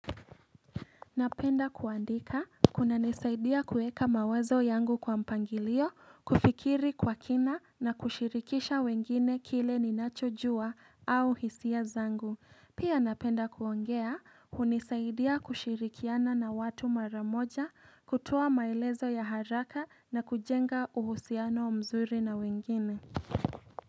Napenda kuandika kuna nisaidia kueka mawazo yangu kwa mpangilio, kufikiri kwa kina na kushirikisha wengine kile ninacho jua au hisia zangu. Pia napenda kuongea, hunisaidia kushirikiana na watu maramoja, kutoa maelezo ya haraka na kujenga uhusiano mzuri na wengine.